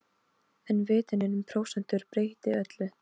En vitundin um prósentur breytti öllu.